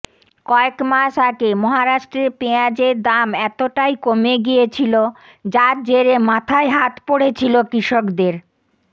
কয়েক মাস আগে মহারাষ্ট্রে পেঁয়াজের দাম এতটাই কমে গিয়েছিল যার জেরে মাথায় হাত করেছিল কৃষকদের